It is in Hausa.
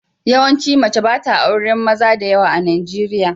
Yawaici mace ba ta auren maza da yawa a Najeriya.